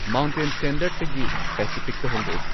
mountain ꯁ꯭ꯇꯦꯟꯗꯔꯗꯇꯒꯤ ꯄꯦꯁꯤꯐꯤꯛꯇ ꯍꯣꯡꯗꯣꯛꯎ